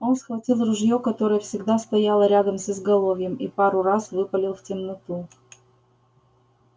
он схватил ружье которое всегда стояло рядом с изголовьем и пару раз выпалил в темноту